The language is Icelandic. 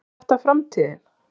Er þetta framtíðin?